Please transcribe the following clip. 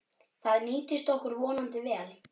Það nýtist okkur vonandi vel.